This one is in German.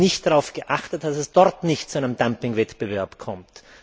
nicht darauf geachtet hat, dass es dort nicht zu einem Dumpingwettbewerb kommt.